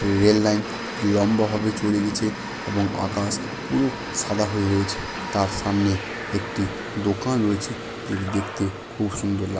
rail line লম্বা ভাবে চলে গেছে এবং আকাশ পুরো সাদা হয়ে রয়েছে তার সামনে একটি দোকান রয়েছে যেটি দেখতে খুব সুন্দর লা--